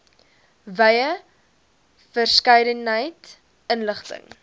wye verskeidenheid inligting